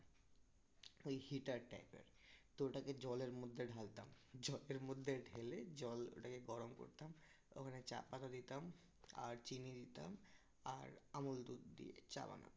ওই heater type এর তো ওটাকে জলের মধ্যে ঢালতাম জলের মধ্যে ঢেলে জল ওটাকে গরম করতাম ওখানে চা পাতা দিতাম আর চিনি দিতাম আর আমল দুধ দিয়ে চা বানাতাম